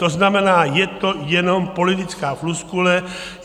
To znamená, je to jenom politická floskule.